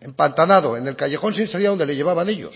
empantanado en el callejón sin salida donde le llevaban ellos